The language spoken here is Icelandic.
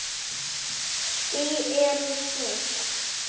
Ský eru þung.